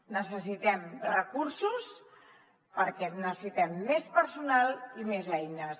necessitem recursos perquè necessitem més personal i més eines